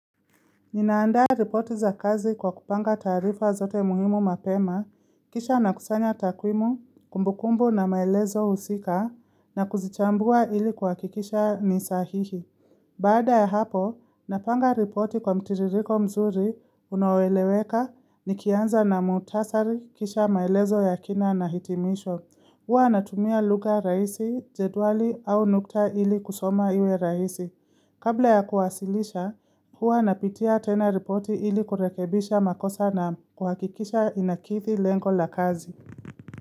Ninaandaa ripoti za kazi kwa kupanga tarifa zote muhimu mapema, kisha na kusanya takwimu, kumbukumbu na maelezo husika, na kuzichambua ili hukakikisha ni sahihi. Baada ya hapo, napanga ripoti kwa mtiririko mzuri unao eleweka nikianza na muhtasari kisha maelezo ya kina na hitimisho. Huwa natumia lugha rahisi, jedwali au nukta ili kusoma iwe rahisi. Kabla ya kuwasilisha, huwa napitia tena ripoti ili kurekebisha makosa na kuhakikisha inakidhi lengo la kazi.